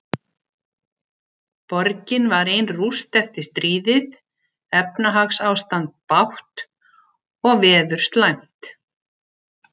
Borgin var ein rúst eftir stríðið, efnahagsástand bágt og veður slæmt.